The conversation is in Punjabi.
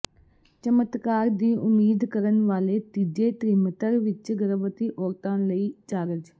ਚਮਤਕਾਰ ਦੀ ਉਮੀਦ ਕਰਨ ਵਾਲੇ ਤੀਜੇ ਤ੍ਰਿਮਤਰ ਵਿਚ ਗਰਭਵਤੀ ਔਰਤਾਂ ਲਈ ਚਾਰਜ